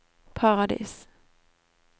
Paradis